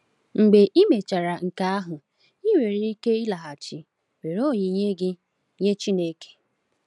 Mgbe i mechara nke ahụ, ị nwere ike ịlaghachi were onyinye gị nye Chineke.